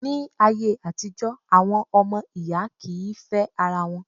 Ní ayé àtijọ́, àwọn ọmọ ìyá kì í fẹ́ ara wọn.